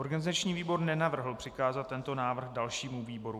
Organizační výbor nenavrhl přikázat tento návrh dalšímu výboru.